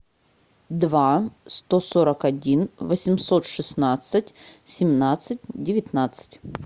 два сто сорок один восемьсот шестнадцать семнадцать девятнадцать